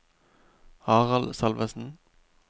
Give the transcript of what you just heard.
Harald Salvesen